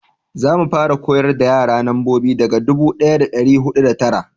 za mu fara koyar da yara nambobi daga dubu daya da dari hudu da tara